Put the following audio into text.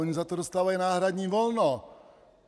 Oni za to dostávají náhradní volno.